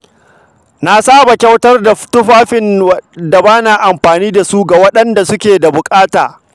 Na saba kyautar da tufafin da ba na amfani da shi ga waɗanda suke buƙata.